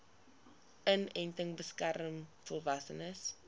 inenting beskerm volwassenes